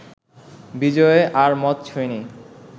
বিজয় আর মদ ছোঁয়নি